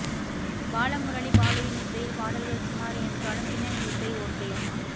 பாலமுரளி பாலுவின் இசையில் பாடல்கள் சுமார் என்றாலும் பின்னணி இசை ஓகே